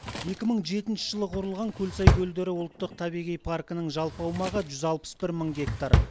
екі мың жетінші жылы құрылған көлсай көлдері ұлттық табиғи паркінің жалпы аумағы жүз алпыс бір мың гектар